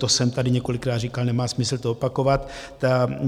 To jsem tady několikrát říkal, nemá smysl to opakovat.